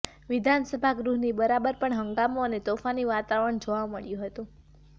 વિધાનસભા ગૃહની બહાર પણ હંગામો અને તોફાની વાતાવરણ જોવા મળ્યું હતું